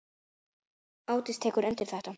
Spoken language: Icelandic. Ásdís tekur undir þetta.